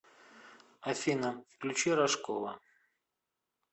афина включи рожкова